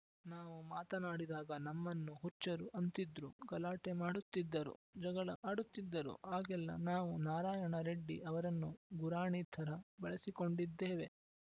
ನಾವು ಮಾತನಾಡಿದಾಗ ನಮ್ಮನ್ನು ಹುಚ್ಚರು ಅಂತಿದ್ರು ಗಲಾಟೆ ಮಾಡುತ್ತಿದ್ದರು ಜಗಳ ಆಡುತ್ತಿದ್ದರು ಆಗೆಲ್ಲ ನಾವು ನಾರಾಯಣ ರೆಡ್ಡಿ ಅವರನ್ನು ಗುರಾಣಿ ಥರ ಬಳಸಿಕೊಂಡಿದ್ದೇವೆ